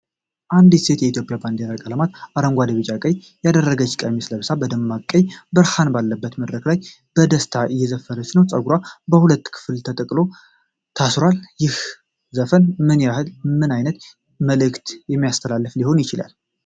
አንዲት ሴት የኢትዮጵያን ባንዲራ ቀለማት (አረንጓዴ፣ ቢጫና ቀይ) ያደረገች ቀሚስ ለብሳ በደማቅ ቀይ ብርሃን ባለበት መድረክ ላይ በደስታ እየዘፈነች ነው። ጸጉሯ በሁለት ከፍል ተጠቅልሎ ታስሯል። ይህ ዘፈን ምን ዓይነት መልዕክት እያስተላለፈ ሊሆን ይችላል?